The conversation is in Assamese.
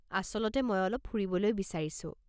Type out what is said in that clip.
আচলতে মই অলপ ফুৰিবলৈ বিচাৰিছোঁ।